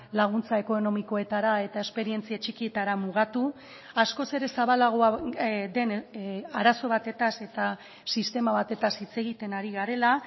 laguntza ekonomikoetara eta esperientzia txikietara mugatu askoz ere zabalagoa den arazo batez eta sistema batez hitz egiten ari garela